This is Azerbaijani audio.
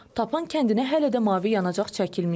Tapan kəndinə hələ də mavi yanacaq çəkilməyib.